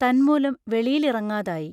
തന്മൂലം വെളിയിലിറങ്ങാതായി.